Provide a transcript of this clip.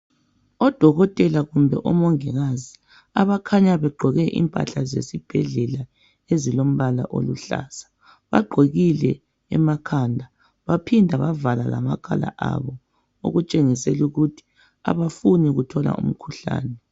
odokotela kumbe omongikazi abakhanya begqoke impahla zesibhedlela ezilombala oluhlaza bagqokile emakhanda baphinda bavala lamakhala abo okutshengisela ukuthi abafuni ukuthola umkhuhlane